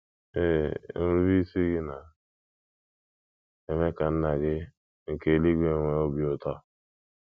Ee, nrubeisi gị na - eme ka Nna gị nke eluigwe nwee obi ụtọ.